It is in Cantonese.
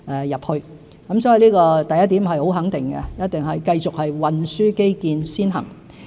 因此，第一點是很肯定的，一定是繼續運輸基建先行。